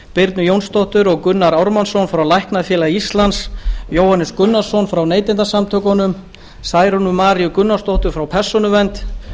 birnu jónsdóttur og gunnar ármannsson frá læknafélagi íslands jóhannes gunnarsson frá neytendasamtökunum særúnu maríu gunnarsdóttur frá persónuvernd